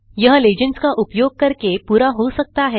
यह लीजेंड्स का उपयोग करके पूरा हो सकता है